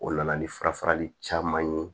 O nana ni farafarali caman ye